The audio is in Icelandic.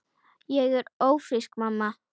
Ég er ófrísk, mamma!